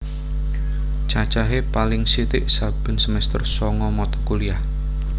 Cacahe paling sithik saben semester sanga mata kuliah